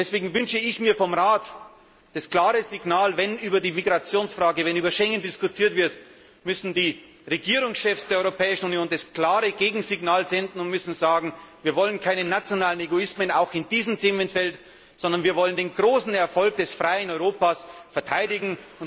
Deswegen wünsche ich mir vom Rat das klare Signal Wenn über die Migrationsfrage, wenn über Schengen diskutiert wird, müssen die Regierungschefs der Europäischen Union das klare Gegensignal senden und müssen sagen Wir wollen keine nationalen Egoismen, auch in diesem Themenfeld, sondern wir wollen den großen Erfolg des freien Europas verteidigen.